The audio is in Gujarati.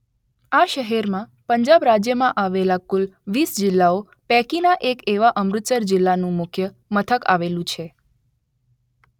આ શહેરમાં પંજાબ રાજ્યમાં આવેલા કુલ વીસ જિલ્લાઓ પૈકીના એક એવા અમૃતસર જિલ્લાનું મુખ્ય મથક આવેલું છે.